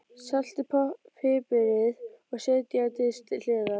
Saltið og piprið og setjið á disk til hliðar.